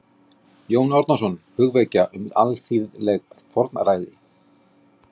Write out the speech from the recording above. Jón Árnason: Hugvekja um alþýðleg fornfræði